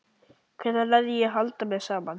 Hvenær læri ég að halda mér saman?